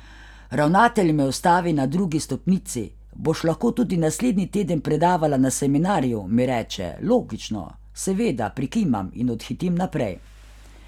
Ravnatelj me ustavi na drugi stopnici, boš lahko tudi naslednji teden predavala na seminarju, mi reče, logično, seveda, prikimam, in odhitim naprej.